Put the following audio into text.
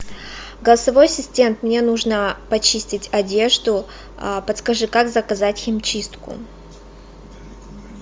голосовой ассистент мне нужно почистить одежду подскажи как заказать химчистку